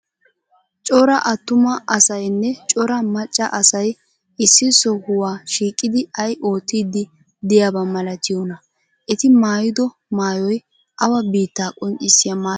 Cora attuma asaynne cora macca asay issi sohuwa shiiqidi ay oottiiddi de'iyaba malatiyonaa? Eti maayido maayoy awa biittaa qonccissiya maayo?